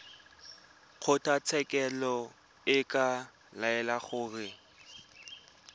kgotlatshekelo e ka laela gore